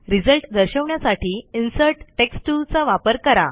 result दर्शवण्यासाठी insert text tool चा वापर करा